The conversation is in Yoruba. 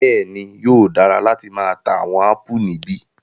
Bẹẹni, yóò dara lati maa ta awọn apù nibi